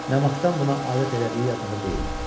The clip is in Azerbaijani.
Nə vaxtdan buna adət elədiyi yadında deyildi.